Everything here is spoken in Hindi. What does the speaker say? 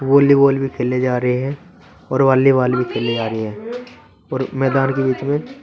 वॉलीबॉल भी खेले जा रहे हैं और वॉलीबॉल भी खेले जा रहे हैं और मैदान के बीच में--